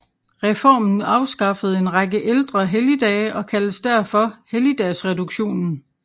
Reformen afskaffede en række ældre helligdage og kaldes derfor Helligdagsreduktionen